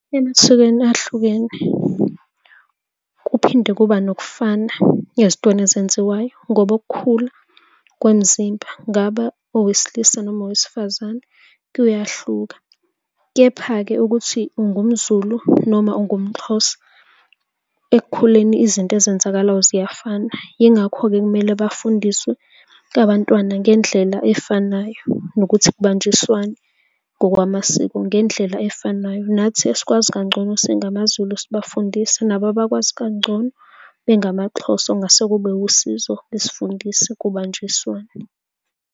Emasikweni ahlukene, kuphinde kuba nokufana ezintweni ezenziwayo ngoba ukukhula kwemizimba, kungaba owesilisa noma owesifazane, kuyahluka, kepha-ke ukuthi ungumZulu noma ungumXhosa ekukhuleni izinto ezenzakalayo ziyafana. Yingakho-ke kumele bafundiswe abantwana ngendlela efanayo, nokuthi kubanjiswane ngokwamasiko ngendlela efanayo. Nathi esikwazi kangcono singamaZulu sibafundise nabo abakwazi kangcono bengamaXhosa ongase kube wusizo, besifundise kubanjiswane.